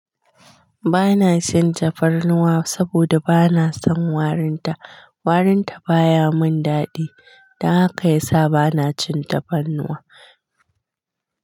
Ba na cin tafarnuwa saboda ba na son warinta. Warinta baya mun daɗi, don haka ya sa ba na cin tafarnuwa.